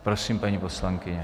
Prosím, paní poslankyně.